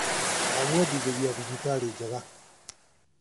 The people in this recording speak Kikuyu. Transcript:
Ndamwendithĩria thabarĩ njega .